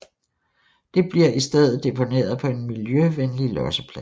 Det bliver i stedet deponeret på en miljøvenlig losseplads